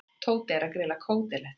Tóti er að grilla kótilettur.